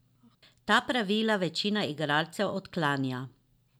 Ta pravila večina igralcev odklanja.